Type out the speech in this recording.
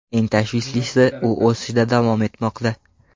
Eng tashvishlisi u o‘sishda davom etmoqda.